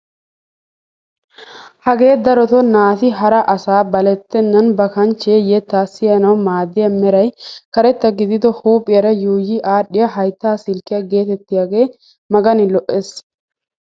Hagee darotoo naati hara asaa balettenan ba kanchchee yettaa siyanawu maaddiyaa meray karetta gidido huuphphiyaara yuuyi aadhdhiyaa hayttaa silkkiyaa getettiyaagee magani lo"ees!